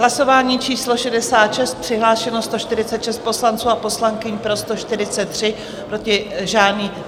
Hlasování číslo 66, přihlášeno 146 poslanců a poslankyň, pro 143, proti žádný.